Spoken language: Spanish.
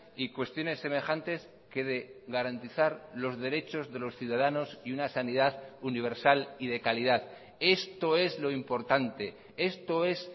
y cuestiones semejantes que de garantizar los derechos de los ciudadanos y una sanidad universal y de calidad esto es lo importante esto es